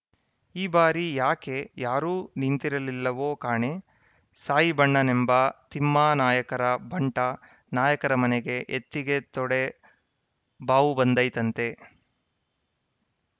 ಈ ಬಾರಿ ಯಾಕೆ ಯಾರೂ ನಿಂತಿರಲಿಲ್ಲವೊ ಕಾಣೆ ಸಾಯಿಬಣ್ಣನೆಂಬ ತಿಮ್ಮಾನಾಯಕರ ಬಂಟ ನಾಯಕರ ಮನೆಗೆ ಎತ್ತಿಗೆ ತೊಡೆ ಬಾವುಬಂದೈತಂತೆ